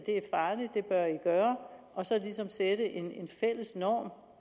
gøre og så ligesom sætte en fælles norm